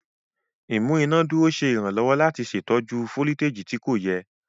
Imú inádúró ṣe iranlọwọ láti ṣètò jù foliteji tí kò yẹ.